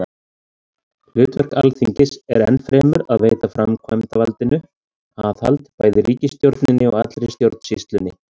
Hlutverk Alþingis er enn fremur að veita framkvæmdarvaldinu aðhald, bæði ríkisstjórninni og allri stjórnsýslunni.